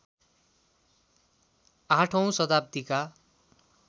८ औँ शताब्दीका